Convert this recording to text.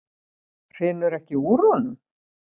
Hrinur ekki úr honum?